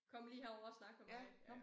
Kom lige herover og snak med mig ja